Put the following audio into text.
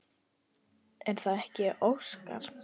Er það ekki Óskar?